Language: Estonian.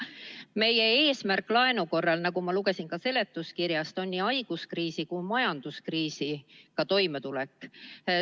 Meie eesmärk laenu korral, nagu ma seletuskirjast lugesin, on nii haiguskriisi kui ka majanduskriisiga toimetulek.